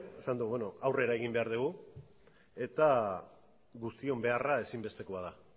esan du aurrera egin behar dugu eta guztion beharra ezinbestekoa da